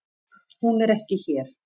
Hún er ekki hér.